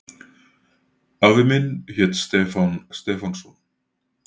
Afi minn hét Stefán Stefánsson.